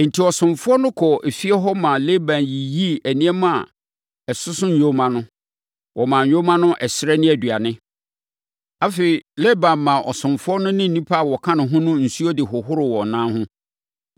Enti, ɔsomfoɔ no kɔɔ efie hɔ maa Laban yiyii nneɛma a ɛsoso nyoma no. Wɔmaa nyoma no ɛserɛ ne aduane, afei Laban maa ɔsomfoɔ no ne nnipa a wɔka ne ho no nsuo de hohoroo wɔn nan ho.